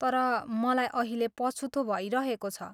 तर, मलाई अहिले पछुतो भइरहेको छ।